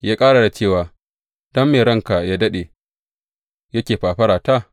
Ya ƙara da cewa, Don me ranka yă daɗe, yake fafarata?